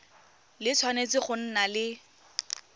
le tshwanetse go nna le